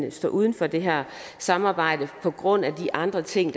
at stå uden for det her samarbejde på grund af de andre ting